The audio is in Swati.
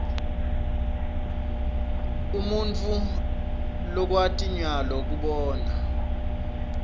inble umutfu lwkwat nyayo kubona